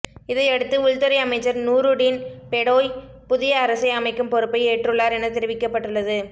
இதையடுத்து உள்துறை அமைச்சர் நூறுடீன் பெடோய் புதிய அரசை அமைக்கும் பொறுப்பை ஏற்றுள்ளார் என தெரிவிக்கப்பட்டுள்ளது